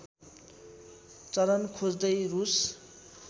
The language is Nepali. चरन खोज्दै रूस